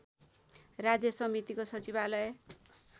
राज्य समितिको सचिवालय